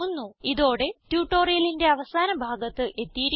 ഇതോടെ ട്യൂട്ടോറിയലിന്റെ അവസാന ഭാഗത്ത് എത്തിയിരിക്കുന്നു